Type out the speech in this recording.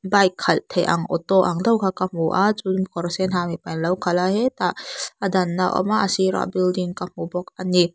bike khalh theih ang auto ang deuh kha ka hmu a chu chu kawr sen ha mipa in lo khalh a hetah a dan na awm a a sir ah building ka hmu bawk ani.